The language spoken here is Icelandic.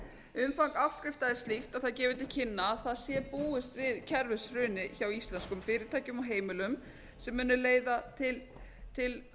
umfang afskrifta er slíkt að það gefur til kynna að það sé búist við kerfishruni hjá íslenskum fyrirtækjum og heimilum sem muni leiða til